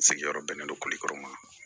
Sigiyɔrɔ bɛnnen don kɔrɔ ma